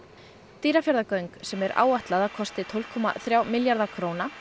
Dýrafjarðargöng sem er áætlað að kosti tólf komma þrjá milljarða króna